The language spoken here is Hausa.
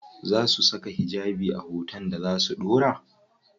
Za su saka hijabi a hoton da za su ɗora?